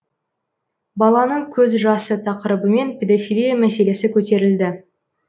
баланың көз жасы тақырыбымен педофилия мәселесі көтерілді